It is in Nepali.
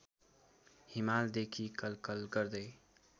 हिमालदेखि कलकल गर्दै